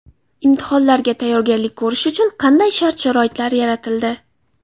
Imtihonlarga tayyorgarlik ko‘rish uchun qanday shart-sharoitlar yaratildi?